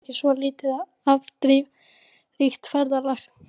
Það var nú heldur ekki svo lítið afdrifaríkt ferðalag.